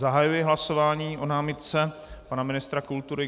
Zahajuji hlasování o námitce pana ministra kultury.